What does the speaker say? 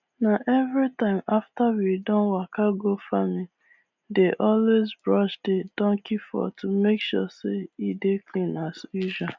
na everytime after we don waka go farmi dey always brush the donkey fur to make sure say e dey clean as usual